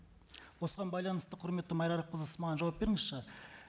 осыған байланысты құрметті майра арапқызы сіз маған жауап беріңізші